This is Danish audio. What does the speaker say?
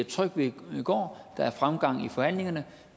tryg ved går der er fremgang i forhandlingerne